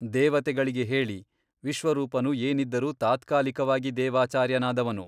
ದೇವತೆಗಳಿಗೆ ಹೇಳಿ ವಿಶ್ವರೂಪನು ಏನಿದ್ದರೂ ತಾತ್ಕಾಲಿಕವಾಗಿ ದೇವಾಚಾರ್ಯನಾದವನು.